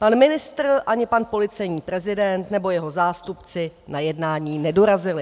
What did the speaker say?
Pan ministr ani pan policejní prezident nebo jeho zástupci na jednání nedorazili.